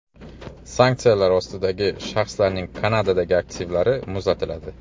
Sanksiyalar ostidagi shaxslarning Kanadadagi aktivlari muzlatiladi.